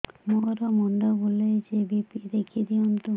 ମୋର ମୁଣ୍ଡ ବୁଲେଛି ବି.ପି ଦେଖି ଦିଅନ୍ତୁ